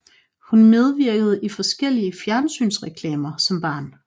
Hun medvirkede i forskellige fjernsynsreklamer som barn